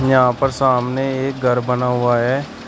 यहां पर सामने एक घर बना हुआ है।